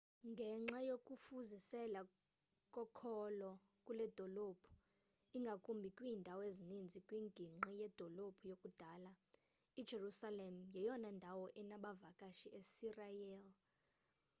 ngenxa yokufuzisela kokholo kuledolophu ingakumbi kwiindawo ezininzi kwingingqi yedolophu yakudala i-jerusalem yeyona ndawo enabavakashi esirayeli